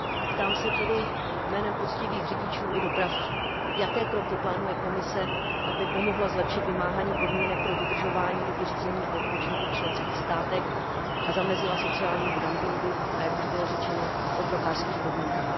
Ptám se tedy jménem poctivých řidičů i dopravců, jaké kroky plánuje Komise, aby pomohla zlepšit vymáhání podmínek pro dodržování doby řízení a odpočinku v členských státech a zamezila sociálnímu dumpingu a jak už bylo řečeno otrokářským podmínkám.